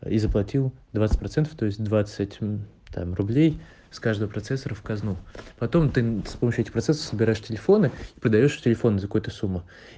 и заплатил двадцать процентов то есть двадцать мм там рублей с каждого процессора в казну потом ты мм с помощью этих процессов собираешь телефоны и продаёшь телефоны за какую-то сумму